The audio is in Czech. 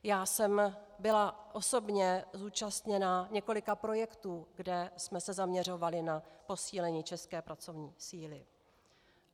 Já jsem byla osobně účastna několika projektů, kde jsme se zaměřovali na posílení české pracovní síly.